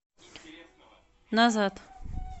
назад